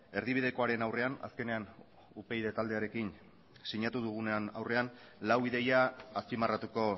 erdibidekoaren aurrean azkenean upyd taldearekin sinatu dugunaren aurrean lau ideia azpimarratuko